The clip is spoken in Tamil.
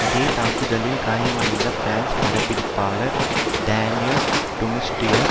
அதே தாக்குதலில் காயமடைந்த பிரான்சு பட பிடிப்பாளர் டானியல் டுமுஸ்டியேர்